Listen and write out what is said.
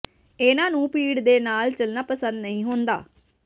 ਇਨ੍ਹਾਂ ਨੂੰ ਭੀੜ ਦੇ ਨਾਲ ਚੱਲਣਾ ਪਸੰਦ ਨਹੀਂ ਹੁੰਦਾ